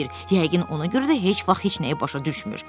Yəqin ona görə də heç vaxt heç nəyi başa düşmür."